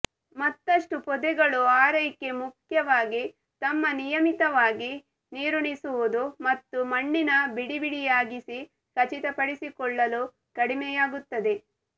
ಮತ್ತಷ್ಟು ಪೊದೆಗಳು ಆರೈಕೆ ಮುಖ್ಯವಾಗಿ ತಮ್ಮ ನಿಯಮಿತವಾಗಿ ನೀರುಣಿಸುವುದು ಮತ್ತು ಮಣ್ಣಿನ ಬಿಡಿಬಿಡಿಯಾಗಿಸಿ ಖಚಿತಪಡಿಸಿಕೊಳ್ಳಲು ಕಡಿಮೆಯಾಗುತ್ತದೆ